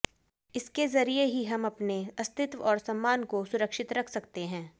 इसके जरिए ही हम अपने अस्तित्व और सम्मान को सुरक्षित रख सकते हैं